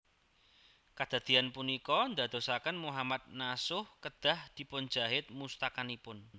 Kadadéyan punika ndadosaken Mohammad Nasuh kedah dipunjahit mustakanipun